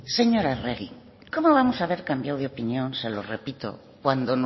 señora arregi cómo vamos a haber cambiado de opinión se lo repito cuando